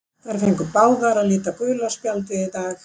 Þær fengu báðar að líta gula spjaldið í dag.